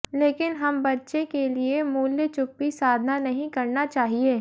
लेकिन हम बच्चे के लिए मूल्य चुप्पी साधना नहीं करना चाहिए